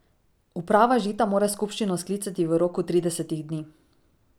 Uprava Žita mora skupščino sklicati v roku tridesetih dni.